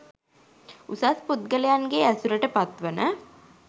උසස් පුද්ගලයින්ගේ ඇසුරට පත් වන